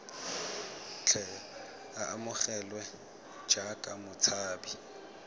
tle a amogelwe jaaka motshabi